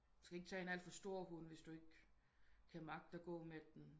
Men skal ikke tage en alt for stor hund hvis du ikke kan magte at gå men den